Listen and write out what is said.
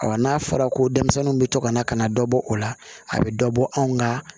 n'a fɔra ko denmisɛnninw bɛ to ka na ka na dɔ bɔ o la a bɛ dɔ bɔ anw ka